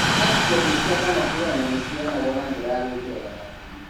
Antibodies cia monoclonal nĩ ciheanagwo na njĩra ya gũĩkirwo thakame-inĩ.